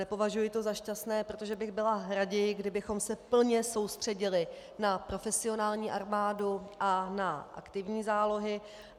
Nepovažuji to za šťastné, protože bych byla raději, kdybychom se plně soustředili na profesionální armádu a na aktivní zálohy.